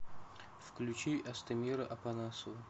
включи астемира апанасова